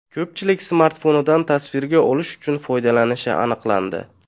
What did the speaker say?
Ko‘pchilik smartfonidan tasvirga olish uchun foydalanishi aniqlandi.